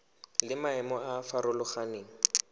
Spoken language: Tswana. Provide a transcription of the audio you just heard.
le maemo a a farologaneng